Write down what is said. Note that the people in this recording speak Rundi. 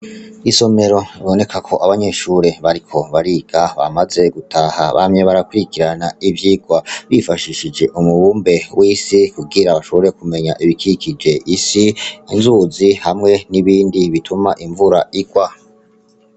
Isomero biboneka ko abanyeshure bariko bariga bamaze gutaha bamye barakurikirana ivyigwa bifashishije umubumbe w'isi kugira bashobore kumenya ibikikuje isi inzuzi hamwe n' ibindi bituma imvura igwa.